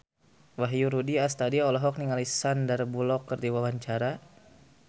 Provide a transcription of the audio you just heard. Wahyu Rudi Astadi olohok ningali Sandar Bullock keur diwawancara